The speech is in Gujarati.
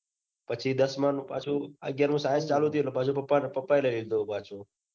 પછી દસમાનું પાછું અગિયારમું science ચાલુ થયું. એટલે પપ્પન પપ્પા એ લઇ લીધો. પછી